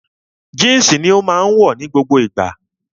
Jínsì ni ó máa wọ̀ ní gbogbo ìgbà